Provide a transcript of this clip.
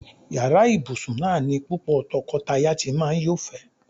Yàrá ìbùsùn náà ni púpò̩ to̩ko̩taya ti máa ń yófè̩é̩.